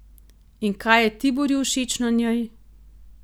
In kaj je Tiborju všeč na njej?